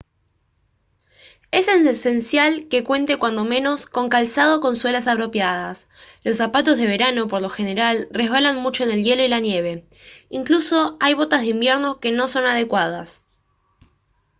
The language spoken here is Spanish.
es esencial que cuente cuando menos con calzado con suelas apropiadas los zapatos de verano por lo general resbalan mucho en el hielo y la nieve incluso hay botas de invierno que no son adecuadas